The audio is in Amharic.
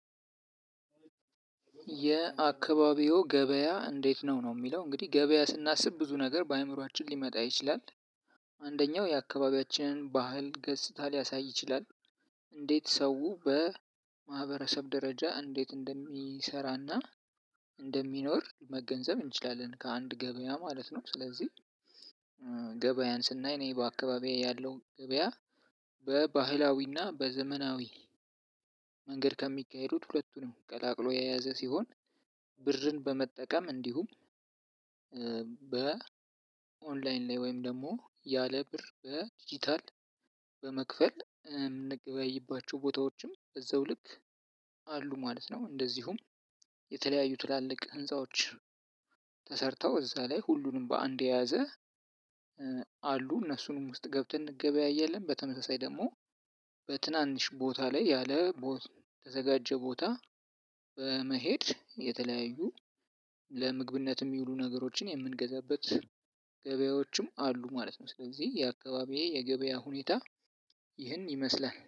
የአካባቢው ገበያ እንዴት? ነው ነው የሚለው እንግዲህ ገበያ ስናስብ ብዙ ነገር በአእምሮአችን ሊመጣ ይችላል። አንደኛው የአካባቢያችንን ባህል ገጽታ ሊያሳይ ይችላል። እንዴት ሰው በማህበረሰብ ደረጃ እንዴት እንደሚሰራና እንደሚኖር መገንዘብ እንችላለን ከአንድ ገበያ ማለት ነው። ስለዚህ ገበያን ስናይ እኔ በአካባቢዬ ያለው ገበያ በባህላዊና በዘመናዊ መንገድ ከሚካሄዱት ሁለቱንም ቀላቅሎ የያዘ ሲሆን። ብርን በመጠቀም እንዲሁም በ ኦንላይን ላይ ወይም ደግሞ ያለ ብር በዲጂታል በመክፈል የምንገበይባቸው ቦታዎችም በዛው ልክ አሉ ማለት ነው። እንደዚሁም የተለያዩ ትላልቅ ህንፃዎች ተሰርተው እዛ ላይ ሁሉንም በአንድ የያዘ አሉ እነሱንም ውስጥ ገብተን እንገበያያለን። በተመሳሳይ ደግሞ በትናንሽ ቦታ ላይ ያልተዘጋጀ ቦታ በመሄድ የተለያዩ ለምግብነት የሚውሉ ነገሮችን የምንገዛበት ገበያዎችም አሉ ማለት ነው። ስለዚህ የአካባቢዬ የገበያ ሁኔታ ይህን ይመስላል